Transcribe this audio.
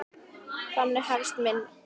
Þannig hefst minn bati.